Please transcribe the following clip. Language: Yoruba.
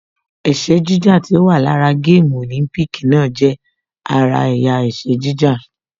Ẹkẹ jíjà tí ó wà lára gáàmù Olympic náà jẹ́ ara ẹ̀yà ẹkẹ jíjà